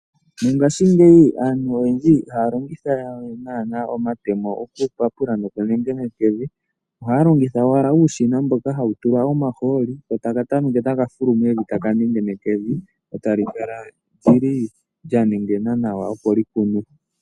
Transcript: Mongashingeyi aantu oyendji ihaya longitha we naana omatemo okupapula nokunengeneka evi, ohaya longitha owala uushina mboka hawu tulwa omaholi ko ta ka tameke taka fulu mevi, taka nengeneke evi lyo tali kala lyi li lya nengena nawa opo lyi kunwe.